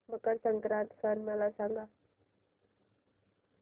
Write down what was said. मकर संक्रांत सण मला सांगा